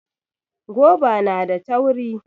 Goba na da tauri